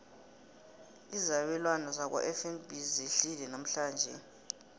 izabelwana zakwafnb zehlile namhlanje